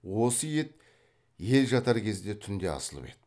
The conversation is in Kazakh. осы ет ел жатар кезде түнде асылып еді